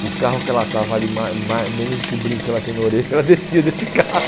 o carro que ela estava vale ma ma menos que o brinco que ela tem na orelha, ela descia desse carro.